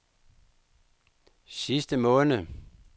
sidste måned